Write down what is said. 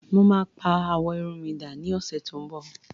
mo ma pa awọ Irun mi da ni ọsẹ ti nbọ